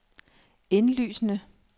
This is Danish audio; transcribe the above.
indlysende